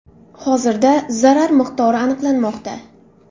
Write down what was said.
Hozirda zarar miqdori aniqlanmoqda.